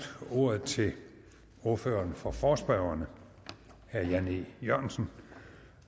ordet til ordføreren for forespørgerne herre jan e jørgensen